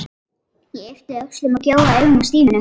Ég yppti öxlum og gjóaði augunum á Stínu.